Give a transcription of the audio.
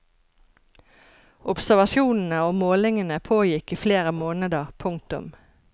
Observasjonene og målingene pågikk i flere måneder. punktum